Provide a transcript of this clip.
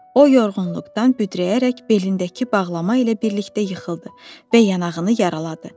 O yorğunluqdan büdrəyərək belindəki bağlama ilə birlikdə yıxıldı və yanağını yaraladı.